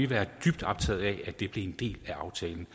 været dybt optaget af at det blev en del af aftalen